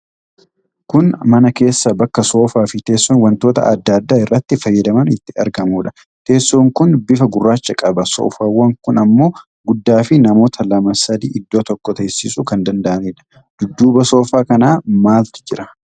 Kun mana keessa bakka soofaa fii teessoon wantoota adda addaa iratti fayyadaman itti argamuudha. Teessoon kun bifa gurraacha qaba. Soofaawwan kun ammoo guddaa fi namoota lamaa sadi iddoo tokko teessisuu kan danda'anidha. Dudduuba soofaa kanaa maaltu jira?